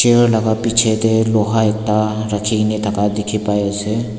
la bichae tae loha ekta rakhikena dikhipaiase.